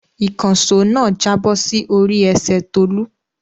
Ìkànṣó náà jábọ̀ sí orí ẹsẹ̀ Tolú.